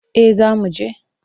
Eh za mu je.